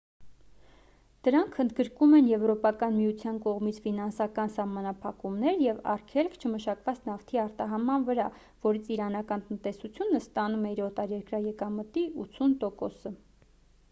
դրանք ընդգրկում են եվրոպական միության կողմից ֆինանսական սահմանափակումներ և արգելք չմշակված նավթի արտահանման վրա որից իրանական տնտեսությունը ստանում է իր օտարերկրյա եկամտի 80%-ը: